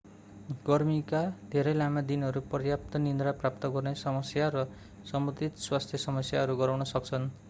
गर्मीका धेरै लामा दिनहरूले पर्याप्त निद्रा प्राप्त गर्ने समस्या र सम्बन्धित स्वास्थ्य समस्याहरू गराउन सक्छन्